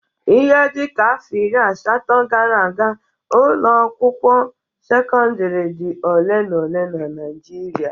Ihe dịka afọ iri asatọ gara aga, ụlọ akwụkwọ sekọndịrị dị ole na ole na Naịjịrịa.